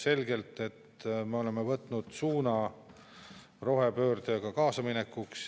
Ida-Virumaal on 1387, mis on tingitud kaevanduste ja Eesti Energia vajadusest inimesi tööle võtta.